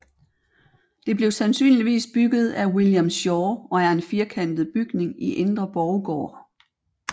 Det blev sandsynligvis bygget af William Schaw og er en firkantet bygning i indre borggård